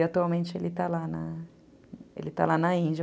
E, atualmente, ele está lá na ele está lá na Índia.